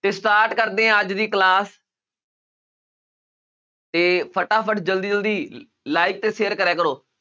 ਤੇ start ਕਰਦੇ ਹਾਂ ਅੱਜ ਦੀ class ਤੇ ਫਟਾਫਟ ਜ਼ਲਦੀ ਜ਼ਲਦੀ like ਤੇ share ਕਰਿਆ ਕਰੋ